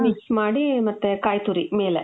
mix ಮಾಡಿ ಮತ್ತೆ ಕಾಯಿ ತುರಿ ಮೇಲೆ.